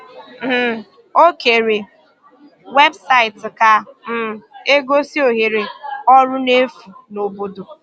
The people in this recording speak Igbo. um Ọ kèrè webụsaịtị ka um e gosi ohere ọrụ n’efu n’obodo.